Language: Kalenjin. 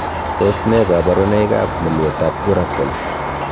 Tos nee koborunoikab mulwetab urachal ?